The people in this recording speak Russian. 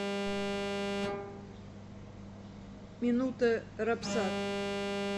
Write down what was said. минута рапсат